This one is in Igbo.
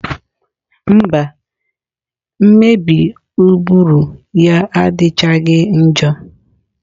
Mba, mmebi ụbụrụ ya adịchaghị njọ.